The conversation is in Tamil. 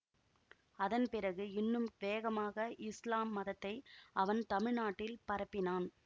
அதன் பிறகு இன்னும் வேகமாக இஸ்லாம் மதத்தை அவன் தமிழ் நாட்டில் பரப்பினான்